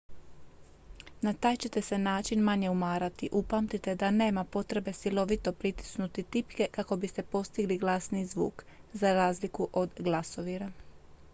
na taj ćete se način manje umarati upamtite da nema potrebe silovito pritisnuti tipke kako biste postigli glasniji zvuk za razliku od glasovira